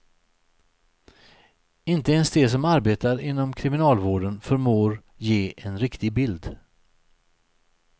Inte ens de som arbetar inom kriminalvården förmår ge en riktig bild.